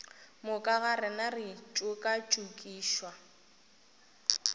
moka ga rena re tšokatšokišwa